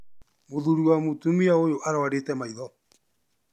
Mũthuri wa mũtumia ũyũ arwarĩte maitho